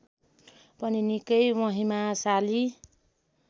पनि निकै महिमाशाली